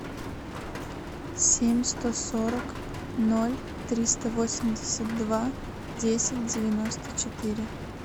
семь сто сорок ноль триста восемьдесят два десять девяносто четыре